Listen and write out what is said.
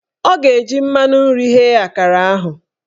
Ọ ga-eji mmanụ nri ghee akara ahụ